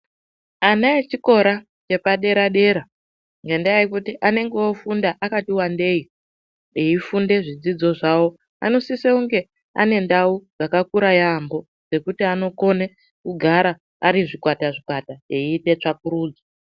Ana echikora chepadera-dera, ngendaa yekuti anenge ofunda akati wandei eifunde zvidzidzo zvawo, anosisonge ane ndau dzakakura yaambo, dzekuti anokone kugara ari zvikwata-zvikwata eyiite tsvakurudzo.